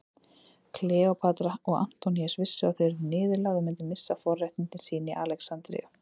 Kleópatra og Antoníus vissu að þau yrðu niðurlægð og myndu missa forréttindi sín í Alexandríu.